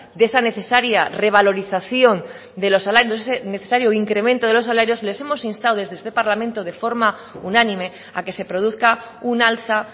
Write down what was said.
de esa necesaria revalorización de los salarios ese necesario incremento de los salarios les hemos instado desde este parlamento de forma unánime a que se produzca un alza